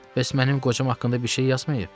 "Bəs mənim qocam haqqında bir şey yazmayıb?"